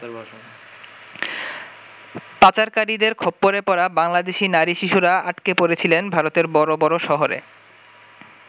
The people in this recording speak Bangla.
পাচারকারীদের খপ্পরে পড়া বাংলাদেশী নারী শিশুরা আটকে পড়েছিলেন ভারতের বড় বড় শহরে।